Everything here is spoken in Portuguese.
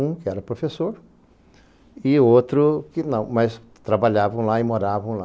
Um que era professor e outro que não, mas trabalhavam lá e moravam lá.